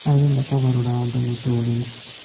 arenda kũgarũrĩra andũ mũtũũrĩre